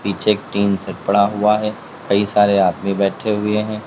पीछे एक tin shed पड़ा हुआ है कई सारे आदमी बैठे हुए हैं।